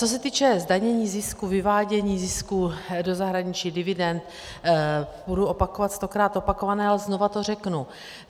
Co se týče zdanění zisku, vyvádění zisku do zahraničí, dividend, budu opakovat stokrát opakované, ale znova to řeknu.